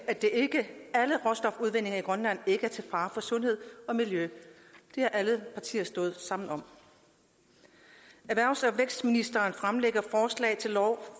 grønland ikke er til fare for sundhed og miljø det har alle partier stået sammen om erhvervs og vækstministeren